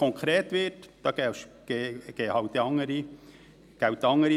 Aber sobald es konkret wird, gelten dann halt andere Regeln.